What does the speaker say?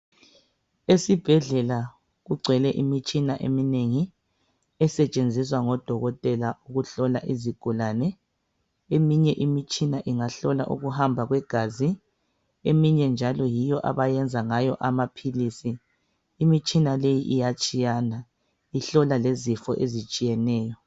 Esibhedlela kugcwele imitshina eminengi esetshenziswa ngodokotela ukuhlola izigulane. Eminye imitshina ingahlola ukuhamba kwegazi, eminye njalo yiyo abayenza ngayo amaphilisi. Imitshina leyi iyatshiyana. Ihlola lezifo ezitshiyeneyo.